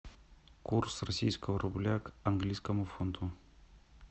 курс российского рубля к английскому фунту